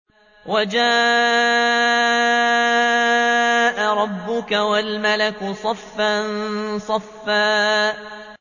وَجَاءَ رَبُّكَ وَالْمَلَكُ صَفًّا صَفًّا